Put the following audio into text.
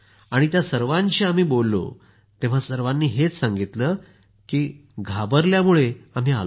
त्या सर्वांशी आम्ही बोललो तेव्हा सर्वांनी हेच सांगितलं की घाबरल्यामुळे आम्ही आलो नाही